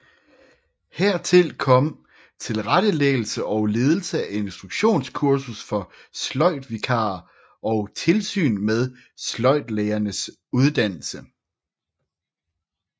Hertil kom tilrettelæggelse og ledelse af instruktionskursus for sløjdvikarer og tilsyn med sløjdlærernes uddannelse